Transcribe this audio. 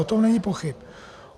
O tom není pochyb.